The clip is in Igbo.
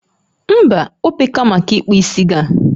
Mba, ope ka maka ikpu isi gị a